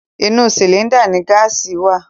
Inú sìlíńdà ni gáàsì wà.